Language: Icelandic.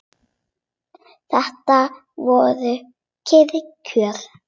Þetta voru kyrr kjör.